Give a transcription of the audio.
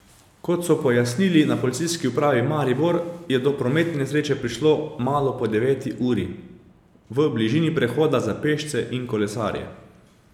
Kot so pojasnili na Policijski upravi Maribor, je do prometne nesreče prišlo malo po deveti uri v bližini prehoda za pešce in kolesarje.